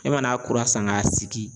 E mana kura san k'a sigi